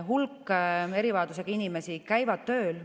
Hulk erivajadusega inimesi käib tööl.